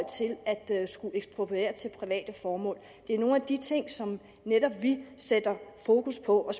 til at skulle ekspropriere til private formål det er nogle af de ting som vi netop sætter fokus på og